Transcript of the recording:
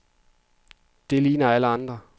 Det ligner alle de andre.